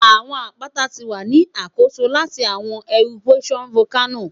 Awọn apata ti wa ni akoso lati awọn eruptions Volcano